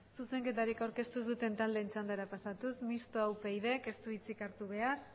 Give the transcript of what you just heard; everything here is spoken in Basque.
zuzenketarik aurkeztu ez duten taldeen txandara pasatuz mistoa upydk ez du hitzik hartu behar